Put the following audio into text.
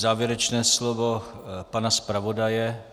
Závěrečné slovo pana zpravodaje.